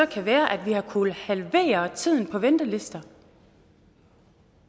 kan være at vi har kunnet halvere tiden på ventelister